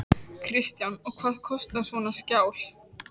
Kristján: Og hvað kostar svona skjal?